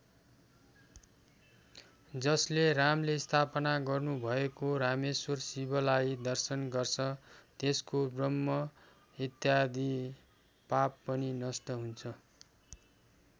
जसले रामले स्थापना गर्नुभएको रामेश्वर शिवलाई दर्शन गर्छ त्यसको ब्रह्म हत्यादि पाप पनि नष्ट हुन्छ।